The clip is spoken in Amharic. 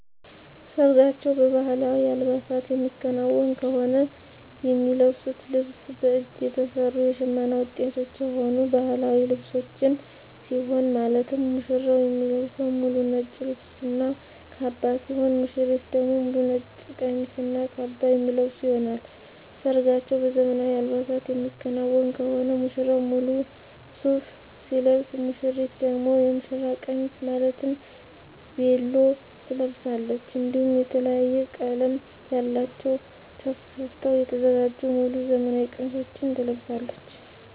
ሰርጋቸው በባህላዊ አልባሳት የሚከናወን ከሆነ የሚለብሱት ልብስ በእጅ የተሰሩ የሽመና ውጤቶች የሆኑ ባህላዊ ልብሶችን ሲሆን ማለትም ሙሽራው የሚለብሰው ሙሉ ነጭ ልብስ እና ካባ ሲሆን ሙሽሪት ደግሞ ሙሉ ነጭ ቀሚስ እና ካባ የሚለብሱ ይሆናል። ሰርጋቸው በዘመናዊ አልባሳት የሚከናወን ከሆነ ሙሽራው ሙሉ ሱፍ ሲለብስ ሙሽሪት ደግሞ የሙሽራ ቀሚስ ማለትም ቬሎ ትለብሳለች። እንዲሁም የተለያየ ቀለም ያላቸውን ተሰፍተው የተዘጋጁ ሙሉ ዘመናዊ ቀሚሶችን ትለብሳለች።